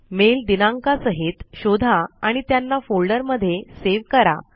mail दिनांका सहित शोधा आणि त्यांना फोल्डर मध्ये सेव करा